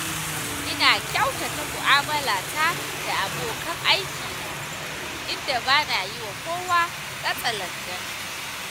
Ina kyautata mu'amalata da abokan aikina, inda ba na yi wa kowa katsalandan.